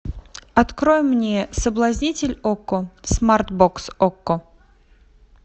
открой мне соблазнитель окко смарт бокс окко